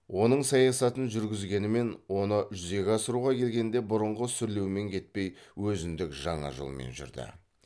оның саясатын жүргізгенімен оны жүзеге асыруға келгенде бұрынғы сүрлеумен кетпей өзіндік жаңа жолмен жүрді